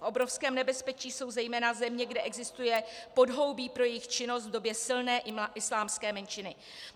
V obrovském nebezpečí jsou zejména země, kde existuje podhoubí pro jejich činnost v době silné islámské menšiny.